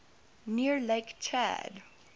near lake chad